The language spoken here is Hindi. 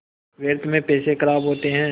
व्यर्थ में पैसे ख़राब होते हैं